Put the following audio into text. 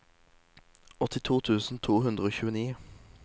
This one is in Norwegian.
åttito tusen to hundre og tjueni